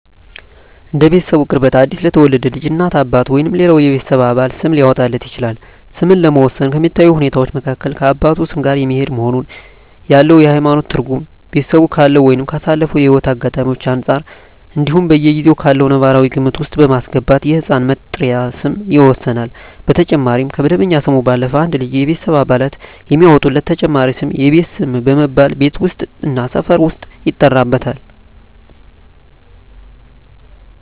እንደ ቤተሰቡ ቅርበት አዲስ ለተወለደ ልጅ እናት፣ አባት ወይም ሌላው የቤተሰብ አባል ስም ሊያወጣለት ይችላል። ስምን ለመወሰን ከሚታዩ ሁኔታወች መካከል ከአባቱ ስም ጋር የሚሄድ መሆኑን፣ ያለው የሀይማኖት ትርጉም፣ ቤተሰቡ ካለው ወይም ካሳለፈው ህይወት አጋጣሚወች አንፃር እንዲሁም በጊዜው ካለው ነባራዊ ግምት ውስጥ በማስገባት የህፃን መጠሪያ ስም ይወሰናል። በተጨማሪም ከመደበኛ ስሙ ባለፈም አንድ ልጅ የቤተሰብ አባላት የሚያወጡለት ተጨማሪ ስም የቤት ስም በመባል ቤት ውስጥ እና ሰፈር ውስጥ ይጠራበታል።